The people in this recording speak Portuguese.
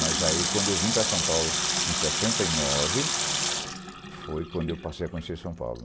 Mas aí, quando eu vim para São Paulo, em sessenta e nove, foi quando eu passei a conhecer São Paulo.